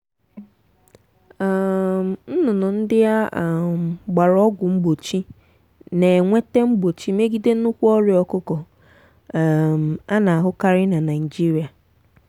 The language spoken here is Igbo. um nnụnụ ndị a um gbara ọgwụ mgbochi na-enwete mgbochi megide nnukwu ọrịa ọkụkọ um a na-ahụkarị na naịjirịa.